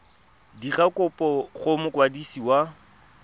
dira kopo go mokwadisi wa